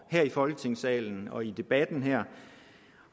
her i folketingssalen og i debatten her